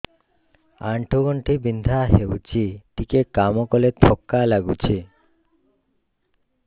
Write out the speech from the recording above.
ଆଣ୍ଠୁ ଗଣ୍ଠି ବିନ୍ଧା ହେଉଛି ଟିକେ କାମ କଲେ ଥକ୍କା ଲାଗୁଚି